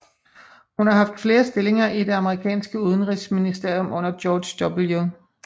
Hun har haft flere stillinger i det amerikanske udenrigsministerium under George W